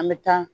An bɛ taa